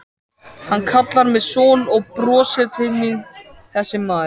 Hann kallar mig son og brosir til mín þessi maður.